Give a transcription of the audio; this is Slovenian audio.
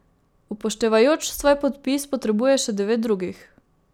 Upoštevajoč svoj podpis potrebuje še devet drugih.